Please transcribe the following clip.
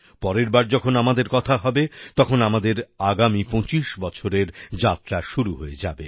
পরের বার যখন আমাদের কথা হবে তখন আমাদের আগামী ২৫ বছরের যাত্রা শুরু হয়ে যাবে